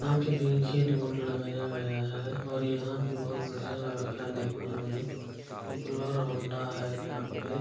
यहाँ पे भी लगाया गया है और यहाँ पे बहुत बढ़िया लग रहा है देखने में पॉपुलर हौंडा है यहाँ पे।